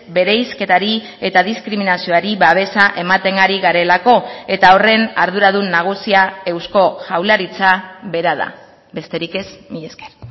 bereizketari eta diskriminazioari babesa ematen ari garelako eta horren arduradun nagusia eusko jaurlaritza bera da besterik ez mila esker